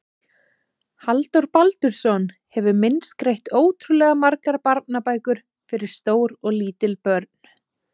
Halldór Baldursson hefur myndskreytt ótrúlega margar barnabækur fyrir stór og lítil börn.